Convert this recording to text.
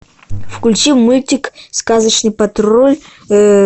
включи мультик сказочный патруль